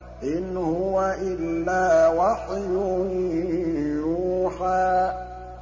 إِنْ هُوَ إِلَّا وَحْيٌ يُوحَىٰ